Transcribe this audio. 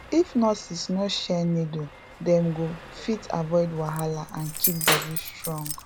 if nurses no share needle dem go fit avoid wahala and keep body strong